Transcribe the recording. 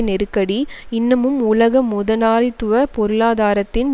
நெருக்கடி இன்னமும் உலக முதலாளித்துவ பொருளாதாரத்தின்